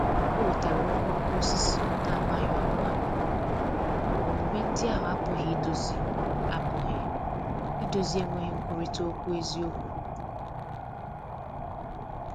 O wetara okooko osisi na-amaghị ọkwa, ma omume ndị ahụ apụghị idozi apụghị idozi enweghị nkwurịta okwu eziokwu.